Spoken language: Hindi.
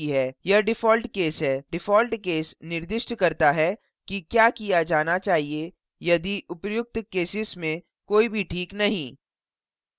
यह default cases है default cases निर्दिष्ट करता है कि क्या किया जाना चाहिए यदि उपर्युक्त केसेस में कोई भी this नहीं